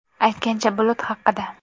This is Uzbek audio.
Aytgancha, bulut haqida.